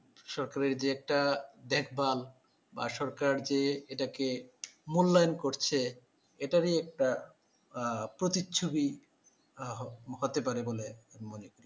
সরকারের যে একটা দেখভাল বা সরকার যে এটাকে মূল্যায়ন করছে এটারি একটা আহ প্রতিচ্ছবিও হতে পারে বলে মনে